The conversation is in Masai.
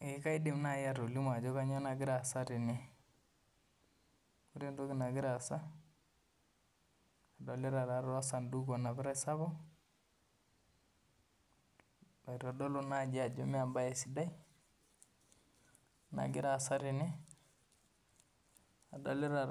Eeeh kaidim naaji atolimu ajo kanyioo nagira aasa tene adolita osaduku onapitai sapuk oitodolu ajo mee embae sidai nagiraa aasa tene adolita